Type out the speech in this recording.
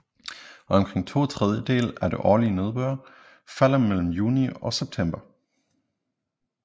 Omkring to tredjedele af den årlig nedbør falder mellem juni og september